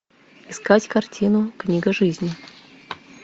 искать картину книга жизни